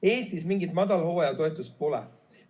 Eestis mingit madalhooaja toetust pole.